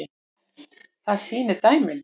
Það sýni dæmin.